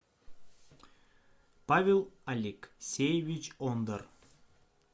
павел алексеевич ондар